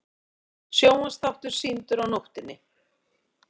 Sjónvarpsþáttur sýndur á nóttinni